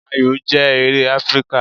Ayò jẹ́ eré Áfríkà.